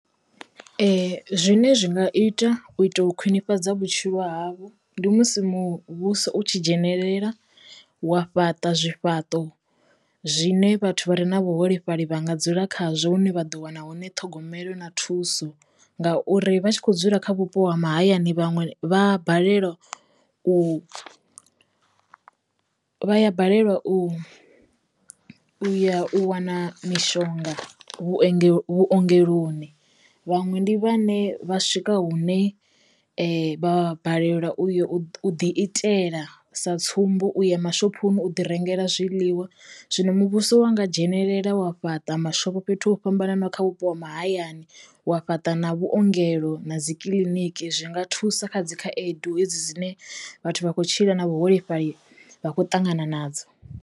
Ee. Zwine zwi nga ita u ita u khwinifhadza vhutshilo havho ndi musi muvhuso u tshi dzhenelela wa fhaṱa zwifhaṱo zwine vhathu vha re na vhuholefhali vhanga dzula khazwo hune vha ḓo wana hune ṱhogomelo na thuso ngauri vha tshi kho dzula kha vhupo ha mahayani vhanwe vha balelwa u, vha ya balelwa u uya u wana mishonga vhuengelo vhuongeloni vhaṅwe ndi vhane vha swika hune vha balelwa uya u ḓi itela. Sa tsumbo, uya mashophoni u ḓi rengela zwiḽiwa zwino muvhuso wa nga dzhenelela wa fhaṱa mashopho fhethu ho fhambananaho kha vhupo ha mahayani wa fhaṱa na vhuongelo na dzi kiḽiniki zwi nga thusa kha dzi khaedu hedzi dzine vhathu vha kho tshila na vhuholefhali vha khou ṱangana nadzo.